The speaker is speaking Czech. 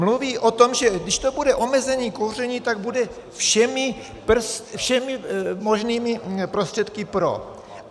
Mluví o tom, že když to bude omezení kouření, tak bude všemi možnými prostředky pro.